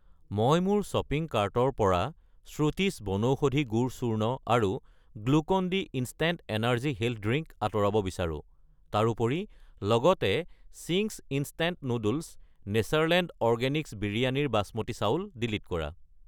মই মোৰ শ্বপিং কাৰ্টৰ পৰা শ্ৰুতিছ বনৌষধি গুড় চূৰ্ণ আৰু Glucon D instant energy health drink আঁতৰাব বিচাৰো। তাৰোপৰি লগতে Ching's instant noodles , Natureland organics বিৰয়ানীৰ বসমতী চাউল ডিলিট কৰা।